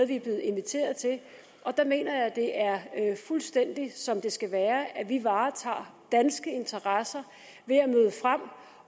vi er blevet inviteret til og der mener jeg at det er fuldstændig som det skal være nemlig at vi varetager danske interesser ved at møde frem